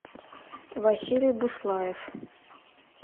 василий буслаев